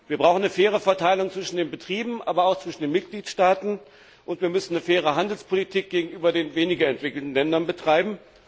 Wir brauchen eine faire Verteilung zwischen den Betrieben, aber auch zwischen den Mitgliedstaaten, und wir müssen eine faire Handelspolitik gegenüber den weniger entwickelten Ländern betreiben.